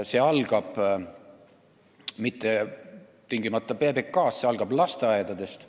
See ei alga tingimata PBK-st, see algab lasteaedadest.